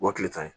O ye tile tan ye